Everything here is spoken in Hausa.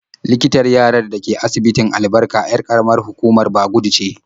Likitan yarar da ke asibitin Albarka 'yar ƙaramar hukumar Bagudu ce.